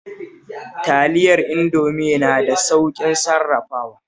Taliyar Indomi na da sauƙin sarrafawa